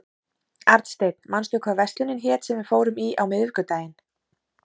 Arnsteinn, manstu hvað verslunin hét sem við fórum í á miðvikudaginn?